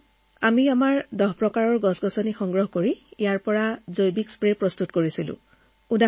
sir আমি দহ প্ৰকাৰৰ তৰুতৃণ মিহলাই জৈৱিক স্প্ৰে বনাইছো